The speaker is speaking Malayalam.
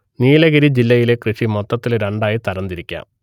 നീലഗിരി ജില്ലയിലെ കൃഷി മൊത്തത്തിൽ രണ്ടായി തരം തിരിക്കാം